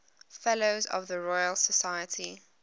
fellows of the royal society